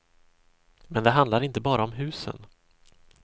Men det handlar inte bara om husen.